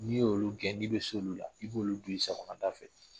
N'i y'olu gɛn, n'i bɛ s'olu la, i b'olu don i sagona da fɛ.